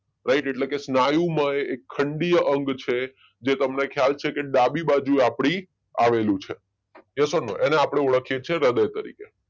right એટલે કે સ્ન્યુમય એક ખંડીય અંગ છે જે તમને ખયાલ છે કે ડાબી બાજુ આપણી આવેલું છે યસ ઔર નો એને આપણે ઓળખીએ છીએ હૃદય તરીકે